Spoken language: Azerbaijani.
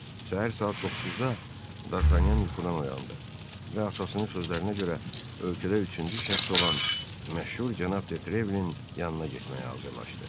Səhər saat 9-da Dartanyan yuxudan oyandı və atasının sözlərinə görə ölkədə üçüncü şəxs olan məşhur cənab Detrevlin yanına getməyə hazırlaşdı.